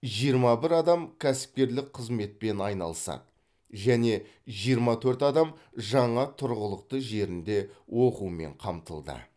жиырма бір адам кәсіпкерлік қызметпен айналысады және жиырма төрт адам жаңа тұрғылықты жерінде оқумен қамтылды